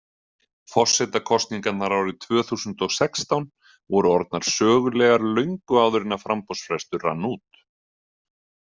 Forsetakosningarnar árið tvö þúsund og og sextán voru orðnar sögulegar löngu áður en að framboðsfrestur rann út.